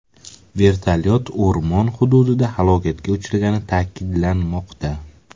Vertolyot o‘rmon hududida halokatga uchragani ta’kidlanmoqda.